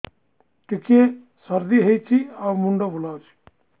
ଟିକିଏ ସର୍ଦ୍ଦି ହେଇଚି ଆଉ ମୁଣ୍ଡ ବୁଲାଉଛି